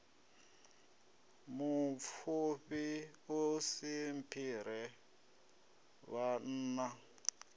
mupfufhi u si mphire vhanna